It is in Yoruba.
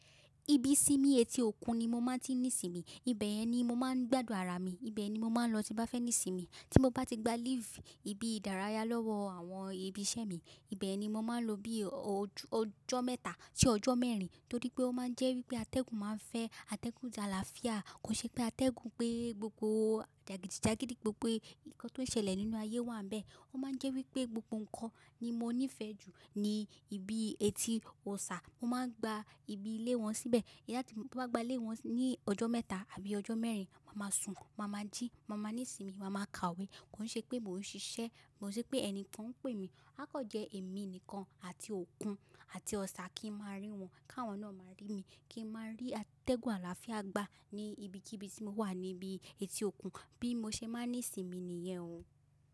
Ibi ìsinmi etí-òkun ni mo má ti ń nísinmi, ibẹ̀ yẹn ni mo máa ń gbádùn ara mi, ibẹ̀ ni mo máa ń lọ tí ń bá fẹ́ nísinmi. Tí mo bá ti gba leave ibi ìdárayá lọ́wọ́ àwọn ibi iṣẹ́ mi, ibẹ̀ ni mo máa ń lọ bí ọjọ́ mẹ́ta sí ọjọ́ mẹ́rin torí pé ó máa ń jẹ́ wípé atẹ́gùn máa ń fẹ́, atẹ́gùn ti àlàáfíà. Kò ń ṣe pé atẹ́gùn pé gbogbo jàgìdìjágídí, gbogbo nǹkan tó ń ṣẹlẹ̀ nínú ayé wà ńbẹ̀. Ó máa ń jẹ́ wípé gbogbo nnkan ní mo nífẹ̀ẹ́ jù ni ibi eti òòsà, mo máa ń gba ibi ilé wọn síbẹ̀. Tí mo bá gba ilé wọn ní ọjọ́ mẹ́ta àbí ojó mẹ́rin, màá máa sùn, màá máa jí, màá máa nísinmi, màá máa kàwé. Kò ń ṣe pé mò ń ṣiṣẹ́, kò ń ṣe pé ẹni kan ń pè mi. Áá kàn jẹ́ èmi nìkan àti òkun àti Ọ̀sà, kí n máa rí wọn, k'áwọn náà máa rí mi. Kí n máa rí atẹ́gùn àlàáfíà gbà ní ibikíbi tí mo wà níbi etí-òkun. Bí mo ṣe máa ń ní ìsinmi nìyẹn o.